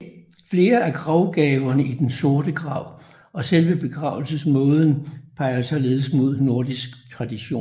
Flere af gravgaverne i Den Sorte Grav og selve begravelsesmåden peger således mod nordisk tradition